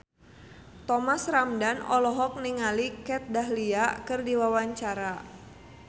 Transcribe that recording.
Thomas Ramdhan olohok ningali Kat Dahlia keur diwawancara